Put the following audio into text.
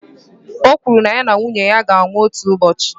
Ọ kwụrụ na ya na nwunye ya ga-anwụ otu ụbọchị.